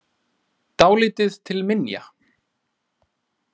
Dálítið til minja.